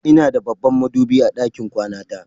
Ina da babban madubi a ɗakin kwana ta.